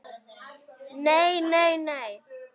Nei, nei nei.